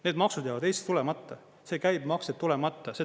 Need maksud jäävad Eestis tulemata, see käibemaks jääb tulemata.